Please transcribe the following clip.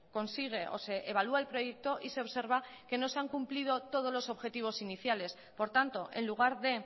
consigue o se evalúa el proyecto y se observa que no se han cumplido todos los objetivos iniciales por tanto en lugar de